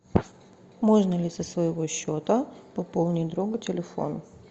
можно ли со своего счета пополнить другу телефон